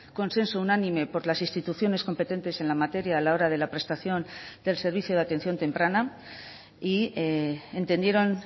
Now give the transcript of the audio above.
consenso unánime por las instituciones competentes en la materia a la hora de la prestación del servicio de atención temprana y entendieron